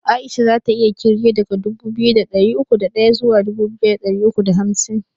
Aisha zata iya kirge daga dubu biyu da ɗari uku da ɗaya zuwa dubu biyu da ɗari uku da hamsin